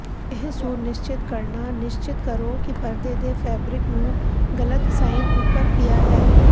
ਇਹ ਸੁਨਿਸ਼ਚਿਤ ਕਰਨਾ ਨਿਸ਼ਚਿਤ ਕਰੋ ਕਿ ਪਰਦੇ ਦੇ ਫੈਬਰਿਕ ਨੂੰ ਗਲਤ ਸਾਈਨ ਉੱਪਰ ਪਿਆ ਹੈ